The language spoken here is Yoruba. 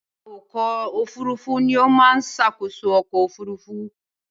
Awakọ̀ òfurufú ni ó máa ń ṣàkóso ọkọ̀-òfurufú.